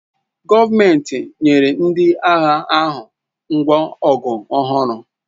Gọọmenti nyere ndị agha ahụ ngwa ọgụ ọhụrụ